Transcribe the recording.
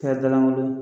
Kɛra dalankolon ye